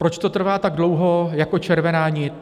Proč to trvá tak dlouho jako červená nit?